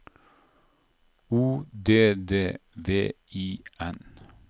O D D V I N